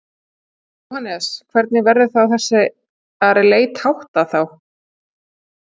Jóhannes: Hvernig verður þessari leit háttað þá?